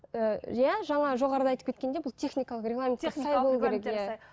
ііі иә жаңа жоғарыда айтып кеткендей бұл техникалық регламент